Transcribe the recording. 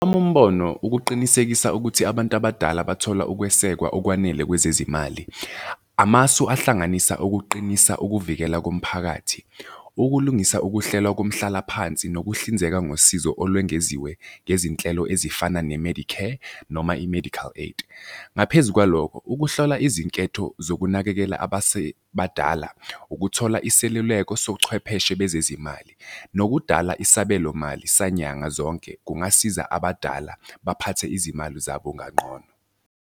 Owami umbono ukuqinisekisa ukuthi abantu abadala bathola ukwesekwa okwanele kwezezimali. Amasu ahlanganisa ukuqinisa ukuvikela komphakathi. Ukulungisa ukuhlelwa komhlalaphansi nokuhlinzeka ngosizo olwengeziwe ngezinhlelo ezifana ne-medicare noma i-medical aid. Ngaphezu kwalokho, ukuhlola izinketho zokunakekela abasebadala ukuthola iseluleko sochwepheshe bezezimali nokudala isabelo mali sanyanga zonke, kungasiza abadala baphathe izimali zabo kanqono.